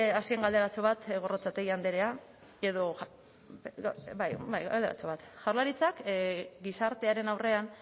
galderatxo bat gorrotxategi andrea edo bai galderatxo bat jaurlaritzak gizartearen aurrean